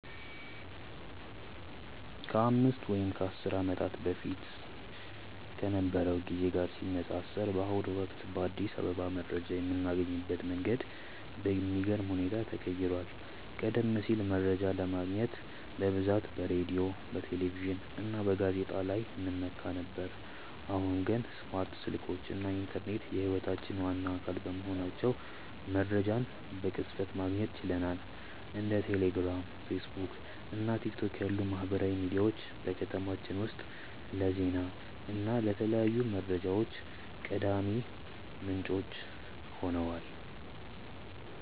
ከአምስት ወይም ከአስር ዓመታት በፊት ከነበረው ጊዜ ጋር ሲነፃፀር፣ በአሁኑ ወቅት በአዲስ አበባ መረጃ የምናገኝበት መንገድ በሚገርም ሁኔታ ተቀይሯል። ቀደም ሲል መረጃ ለማግኘት በብዛት በሬዲዮ፣ በቴሌቪዥን እና በጋዜጦች ላይ እንመካ ነበር፤ አሁን ግን ስማርት ስልኮች እና ኢንተርኔት የህይወታችን ዋና አካል በመሆናቸው መረጃን በቅጽበት ማግኘት ችለናል። እንደ ቴሌግራም፣ ፌስቡክ እና ቲክቶክ ያሉ ማህበራዊ ሚዲያዎች በከተማችን ውስጥ ለዜና እና ለተለያዩ መረጃዎች ቀዳሚ ምንጮች ሆነዋል።